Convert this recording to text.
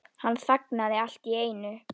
Hann þagnaði allt í einu.